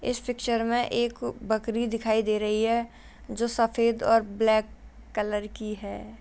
इस पिक्चर में एक बकरी दिखाई दे रही है जो सफेद और ब्लैक कलर की है ।